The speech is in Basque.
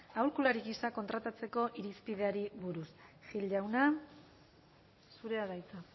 aholkulari gisa kontratatzeko irizpideari buruz gil jauna zurea da hitza